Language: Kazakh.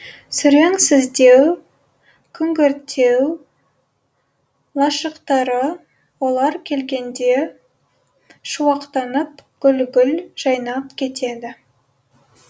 сүреңсіздеу күңгірттеу лашықтары олар келгенде шуақтанып гүл гүл жайнап кетеді